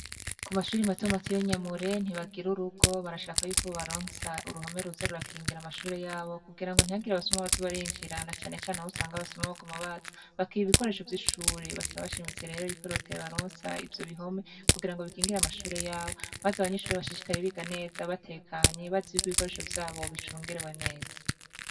Ku mashure matomato y'inyamure ntibagira urugo barashaka yuko bobaronsa uruhome ruza rurakingira amashure yabo kugira ngo ntihagire abasuma baza barinjira na cane cane aho usanga abasuma baguma baza bakiba ibikoresho vy'ishure basaba bashimitse rero yuko reta yobaronsa ivyo bihome kugira ngo bakingire amashure yabo maze abanyeshure bashishikare biga neza batekanye bazi yuko ibikoresho vyabo bicungerewe neza.